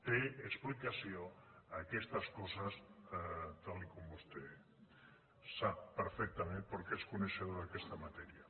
tenen explicació aquestes coses tal com vostè sap perfectament perquè és coneixedor d’aquesta matèria